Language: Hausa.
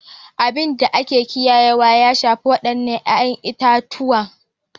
Abin da ake kiyayewa ya shafi waɗannan 'ya'yan itatuwa